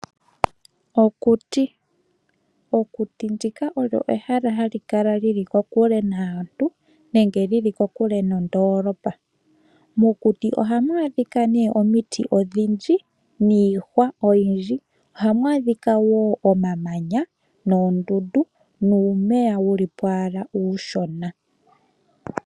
Okuti. Okuti ndika olyo ehala hali kala li li kokule naantu nenge li li kokule nondoolopa. Mokuti ohamu adhika nee omiti odhindji niihwa oyindji. Ohamu adhika wo omamanya, noondundu, nuumeya wuli po owala uushona.